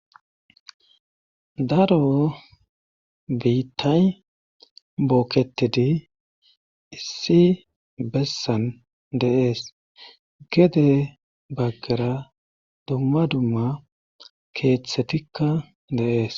daro biittay bookketidi issi bessan deees gede baggara dumma dumma keeththetikka deees